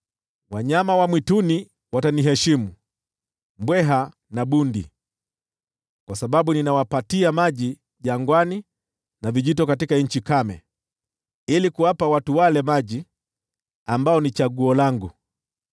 Wanyama wa mwituni wataniheshimu, mbweha na bundi, kwa sababu ninawapatia maji jangwani, na vijito katika nchi kame, ili kuwapa watu wangu maji, wale niliowachagua,